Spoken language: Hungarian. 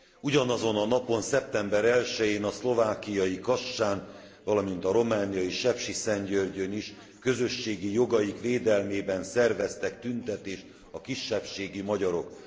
Ugyanazon a napon, szeptember 1 jén a szlovákiai Kassán, valamint a romániai Sepsiszentgyörgyön is közösségi jogaik védelmében szerveztek tüntetést a kisebbségi magyarok.